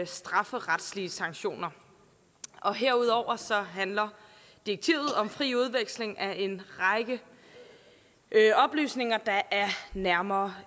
strafferetslige sanktioner herudover handler direktivet om fri udveksling af en række oplysninger der er nærmere